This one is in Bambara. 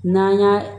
N'an y'a